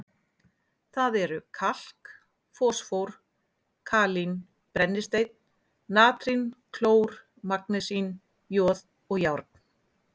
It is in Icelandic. Það eru kalk, fosfór, kalín, brennisteinn, natrín, klór, magnesín, joð og járn.